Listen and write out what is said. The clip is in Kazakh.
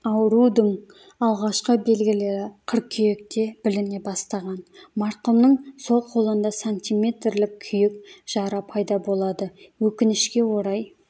аурудың алғашқы белгілері қыркүйекте біліне бастаған марқұмның сол қолында сантиметрлік күйік жара пайда болады өкінішке орай